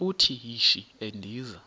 uthi yishi endiza